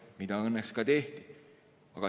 Seda õnneks ka tehti.